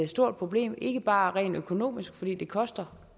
stort problem ikke bare rent økonomisk fordi det koster